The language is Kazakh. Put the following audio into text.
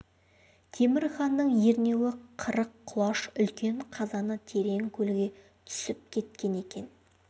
темір ханның ернеуі қырық құлаш үлкен қазаны терең көлге түсіп кеткен екен